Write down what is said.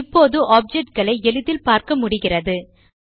இப்போது ஆப்ஜெக்ட் களை எளிதில் பார்க்க்க முடிகிறது